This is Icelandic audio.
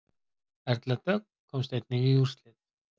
Erla Dögg komst einnig í úrslit